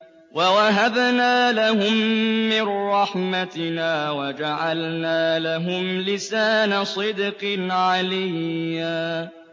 وَوَهَبْنَا لَهُم مِّن رَّحْمَتِنَا وَجَعَلْنَا لَهُمْ لِسَانَ صِدْقٍ عَلِيًّا